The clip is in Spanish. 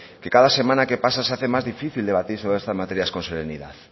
que cada semana que pasa se hace más difícil debatir sobre estas materias con serenidad